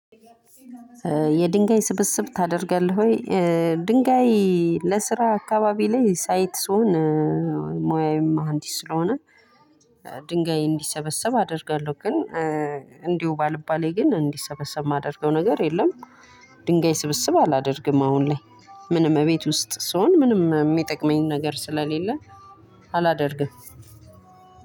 የድንጋይ ስብስብ ታደርጋለህ ወይ? ድንጋይ ለስራ አካባቢ ላይ ሳይት ስሆን። ሙያዬም ምሃንድስ ስለሆነ ድንጋይ እንዲሰበሰብ አደርጋለሁ። ግን እንዲሁ ባልባሌ ግን እንዲሰበሰብ የማደርገው ነገር የለም። ድንጋይ ስብስብ አላደርግም አሁን ላይ። ምን ምንም እቤት ውስጥ ስሆን ምንም የሚጠቅመኝን ነገር ስለሌለ አላደርግም።